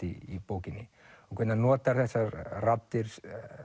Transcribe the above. í bókinni og hvernig hann notar þessar raddir